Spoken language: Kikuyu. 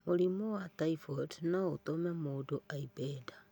Mũrimũ wa typhoid no ũtũme mũndũ aimbe nda.